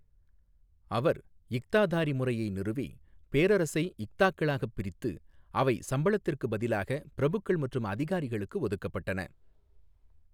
அவர் இக்தாதாரி முறையை நிறுவி, பேரரசை இக்தாக்களாகப் பிரித்து, அவை சம்பளத்திற்கு பதிலாக பிரபுக்கள் மற்றும் அதிகாரிகளுக்கு ஒதுக்கப்பட்டன.